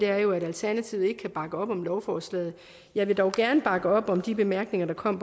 er jo at alternativet ikke kan bakke op om lovforslaget jeg vil dog gerne bakke op om de bemærkninger der kom